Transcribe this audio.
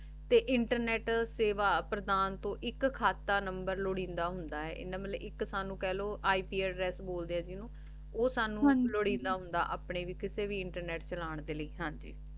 ਤੇ internet ਸੇਵਾ ਪ੍ਰਦਾਨ ਤੋਂ ਏਇਕ ਖਾਤਾ ਨੰਬਰ ਲੁਰਿੰਦਾ ਹੁੰਦਾ ਆਯ ਮਤਲਬ ਏਇਕ ਸਾਨੂ ਕਹ ਲੋ ip address ਬੋਲਦੇ ਆ ਜਿਨੂ ਊ ਸਾਨੂ ਲੋਰਿੰਦਾ ਹੁੰਦਾ ਅਪਨੇ ਲੈ ਕਿਤੇ ਵੀ ਇੰਟਰਨੇਟ ਚਾਲਾਂ ਲੈ ਹਾਂਜੀ